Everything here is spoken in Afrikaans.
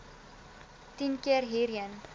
tien keer hierheen